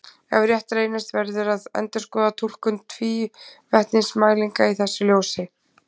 Ef rétt reynist verður að endurskoða túlkun tvívetnismælinga í þessu ljósi.